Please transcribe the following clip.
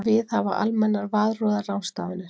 Viðhafa almennar varúðarráðstafanir.